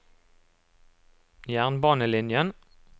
jernbanelinjen